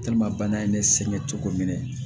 bana ye ne sɛgɛn cogo min na